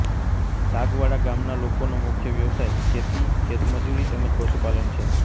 સાગવાડા ગામના લોકોનો મુખ્ય વ્યવસાય ખેતી ખેતમજૂરી તેમ જ પશુપાલન છે